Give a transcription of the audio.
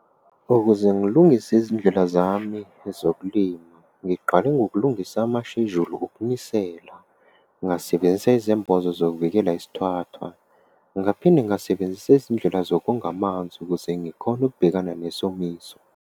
Ukuze ngilungise izindlela zami zokulima, ngiqale ngokulungisa amashejuli okunisela. Ngasebenzisa izembozo zokuvikela isithathwa. Ngaphinde ngasebenzisa izindlela zokonga amanzi ukuze ngikhone ukubhekana nesomiso.